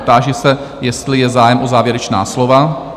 Táži se, jestli je zájem o závěrečná slova?